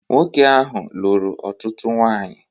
Nwoke ahụ lụrụ ọtụtụ nwanyị.